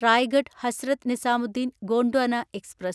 Raigad Hazrat Nizamuddin Gondwana express